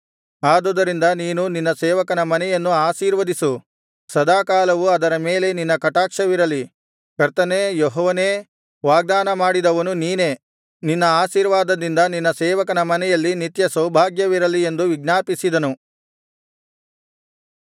ಆದುದರಿಂದ ನೀನು ನಿನ್ನ ಸೇವಕನ ಮನೆಯನ್ನು ಆಶೀರ್ವದಿಸು ಸದಾಕಾಲವೂ ಅದರ ಮೇಲೆ ನಿನ್ನ ಕಟಾಕ್ಷವಿರಲಿ ಕರ್ತನೇ ಯೆಹೋವನೇ ವಾಗ್ದಾನ ಮಾಡಿದವನು ನೀನೇ ನಿನ್ನ ಆಶೀರ್ವಾದದಿಂದ ನಿನ್ನ ಸೇವಕನ ಮನೆಯಲ್ಲಿ ನಿತ್ಯ ಸೌಭಾಗ್ಯವಿರಲಿ ಎಂದು ವಿಜ್ಞಾಪಿಸಿದನು